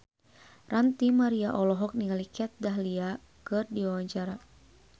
Ranty Maria olohok ningali Kat Dahlia keur diwawancara